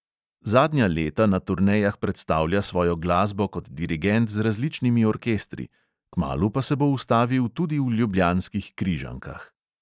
Zadnja leta na turnejah predstavlja svojo glasbo kot dirigent z različnimi orkestri, kmalu pa se bo ustavil tudi v ljubljanskih križankah.